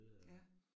Ja